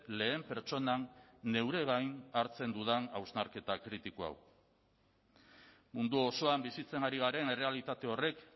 lehen pertsonan neure gain hartzen dudan hausnarketa kritiko hau mundu osoan bizitzen ari garen errealitate horrek